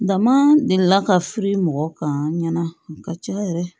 Dama delila ka firi mɔgɔ kan ɲana a ka ca yɛrɛ